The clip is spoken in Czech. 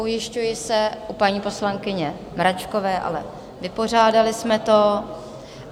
Ujišťuji se u paní poslankyně Mračkové - ale vypořádali jsme to.